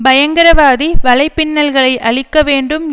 பயங்கரவாதி வலைபின்னல்களை அழிக்கவேண்டும்